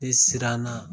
Ne siran na